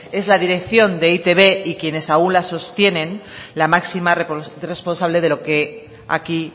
es la dirección de e i te be y quienes aún la sostienen la máxima responsable de lo que aquí